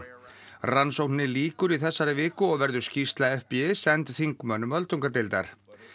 rannsókninni lýkur í þessari viku og verður skýrsla FBI send þingmönnum öldungadeildar